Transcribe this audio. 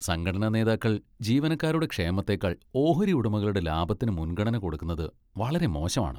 സംഘടനാനേതാക്കൾ ജീവനക്കാരുടെ ക്ഷേമത്തേക്കാൾ ഓഹരി ഉടമകളുടെ ലാഭത്തിന് മുൻഗണന കൊടുക്കുന്നത് വളരെ മോശമാണ്.